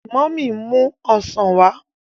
Mummy n mu ọsán wá.